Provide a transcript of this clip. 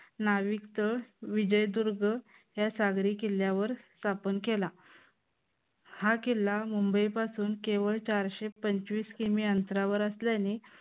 नाविक तळ विजयदुर्ग या सागरी किल्ल्यावर स्थापन केला. हा किल्ला मुंबई पासून केवळ चारशे पंचवीस की. मी. अंतरावर असल्याने